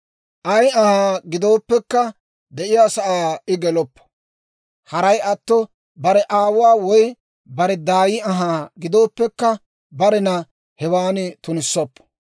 Ay anhaa gidooppekka, de'iyaa sa'aa I geloppo; haray atto bare aawuwaa woy bare daay anhaa gidooppekka, barena hewaan tunissoppo.